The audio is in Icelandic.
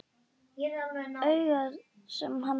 Augað sem hann missti.